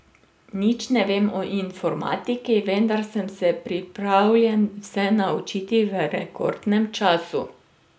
Nič ne vem o informatiki, vendar sem se pripravljen vse naučiti v rekordnem času.